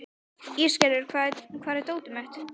Ísgerður, hvar er dótið mitt?